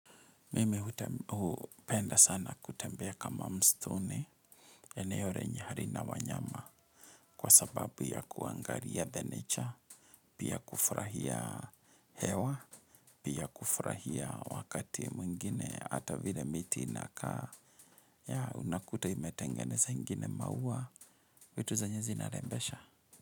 Mimi hupenda sana kutembea kama mstuni eneo renye harina wanyama kwa sababu ya kuangaria the nature, pia kufurahia hewa, pia kufurahia wakati mwingine, ata vile miti inakaa, ya unakuta imetengeneza ingine maua, vitu zenye zina rembesha.